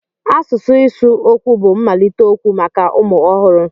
Asụsụ ịsụ okwu bụ mmalite okwu maka ụmụ ọhụrụ.